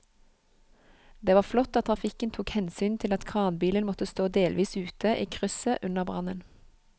Det var flott at trafikken tok hensyn til at kranbilen måtte stå delvis ute i krysset under brannen.